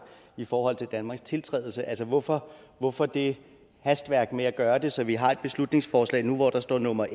i forhold til danmarks tiltrædelse altså hvorfor hvorfor det hastværk med at gøre det så vi har et beslutningsforslag nu hvor der står nummer